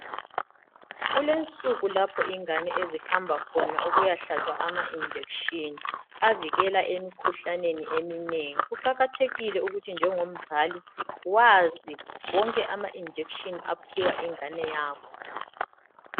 Kulensuku lapho ingane ezihamba khona ukuyahlatshwa ama injection avikela emikhuhlaneni eminengi kuqakathekile ukuthi njengomzali wazi wonke ama injection aphiwa ingane yakho.